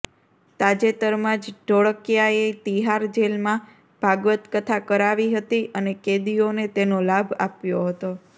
તાજેતરમાં જ ઢોળકિયાએ તિહાર જેલમાં ભાગવત કથા કરાવી હતી અને કેદીઓને તેનો લાભ આપ્યો હતો